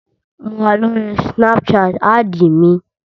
Mo wà lórí snapchat, ádìì mi